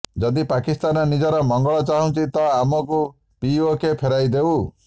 ଯଦି ପାକିସ୍ତାନ ନିଜର ମଙ୍ଗଳ ଚାହୁଛି ତ ଆମକୁ ପିଓକେ ଫେରାଇ ଦେଉ